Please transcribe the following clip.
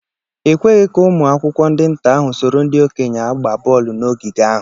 A ekwegi ka ụmụ akwụkwọ ndị nta ahụ soro ndị okenye agba bọọlụ n'ogige ahụ.